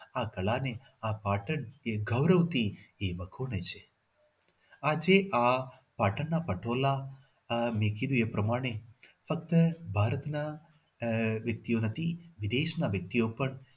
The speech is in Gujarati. આ કળાને આ પાટણ ગૌરવથી એ વખોળે છે આજે આ પાટણના પટોળા આહ મેં કીધું એ પ્રમાણે ફક્ત ભારતના આહ વ્યક્તિઓના નહી વિદેશના વ્યક્તિઓ પણ